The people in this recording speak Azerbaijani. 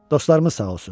Dostlarımız sağ olsun.